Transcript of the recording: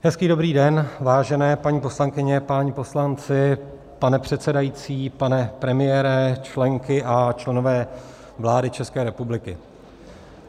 Hezký dobrý den, vážené paní poslankyně, páni poslanci, pane předsedající, pane premiére, členky a členové vlády České republiky.